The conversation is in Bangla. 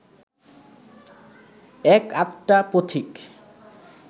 এক-আধটা পথিক